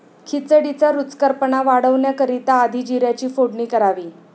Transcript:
खिचडीचा रुचकरपणा वाढवण्याकरिता आधी जीऱ्याची फोडणी करावी.